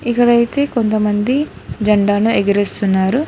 ఇక్కడ అయితే కొంతమంది ఈ జెండాను ఎగరేస్తున్నారు.